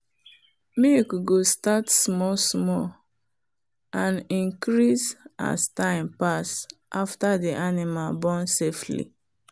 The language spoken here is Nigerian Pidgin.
milk go start small small and increase as time pass after the animal born safely.